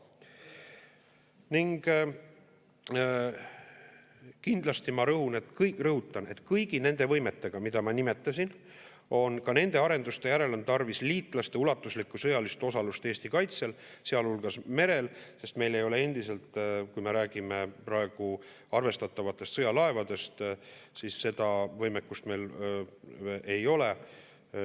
Ning kindlasti ma rõhutan, et kõigi nende võimete puhul, mida ma nimetasin, ka nende arenduste järel on tarvis liitlaste ulatuslikku sõjalist osalust Eesti kaitsel, sealhulgas merel, sest kui me räägime praegu arvestatavatest sõjalaevadest, siis meil ei ole endiselt seda võimekust.